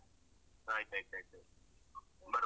ಆಯ್ತಾಯ್ತಾಯ್ತು ಬರುವ.